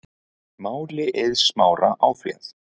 Máli Eiðs Smára áfrýjað